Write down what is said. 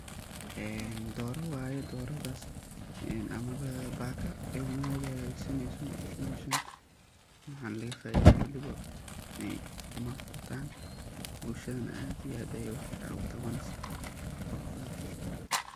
Een doori waye amamah baka ilmaheetha, hagajisaneysoh meshan waxan laga faitho walibo ukuma bartan bulshada Aya aad iyo aad Aya fican u qaaban wax quruxbathan.